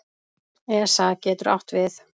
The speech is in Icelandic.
ESA getur átt við